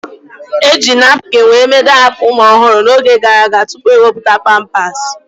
Eji napkin were mee daipa ụmụ ọhụrụ n'oge gara aga tụpụ ewepụta pampasi